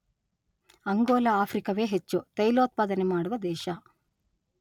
ಅಂಗೋಲ ಆಫ್ರಿಕವೇ ಹೆಚ್ಚು ತೈಲೋತ್ಪಾದನೆ ಮಾಡುವ ದೇಶ.